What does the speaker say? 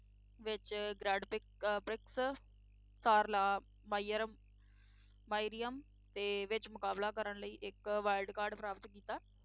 ਵਿੱਚ grand prix uh prix SAR la Meryem Meryem ਦੇ ਵਿੱਚ ਮੁਕਾਬਲਾ ਕਰਨ ਲਈ ਇੱਕ wildcard ਪ੍ਰਾਪਤ ਕੀਤਾ,